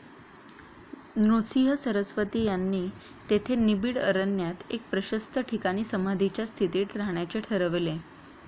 नृसिंह सरस्वती यांनी तेथे निबिड अरण्यात एक प्रशस्त ठिकाणी समाधीच्या स्थितीत राहण्याचे ठरविले.